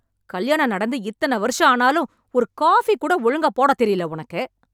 கல்யாணம் நடந்து இத்தன வர்ஷம் ஆனாலும் ஒரு காஃபி கூட ஒழுங்க போடாத் தெரில உனக்கு